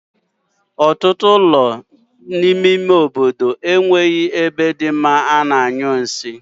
Otutu ulo n'ime ime obodo e nweghi ebe di mma a na-anyu nsi m